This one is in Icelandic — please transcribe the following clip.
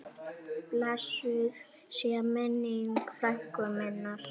Blessuð sé minning frænku minnar.